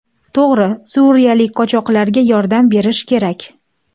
To‘g‘ri, suriyalik qochoqlarga yordam berish kerak.